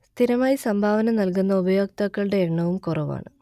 സ്ഥിരമായി സംഭാവന നൽകുന്ന ഉപയോക്താക്കളുടെ എണ്ണവും കുറവാണ്